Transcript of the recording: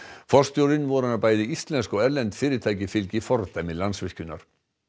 forstjórinn vonar að bæði íslensk og erlend fyrirtæki fylgi fordæmi Landsvirkjunar